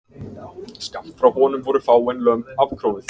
Skammt frá honum voru fáein lömb afkróuð